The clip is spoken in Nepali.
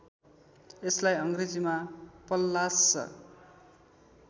यसलाई अङ्ग्रेजीमा पल्लास्स